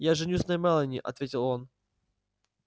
я женюсь на мелани ответил он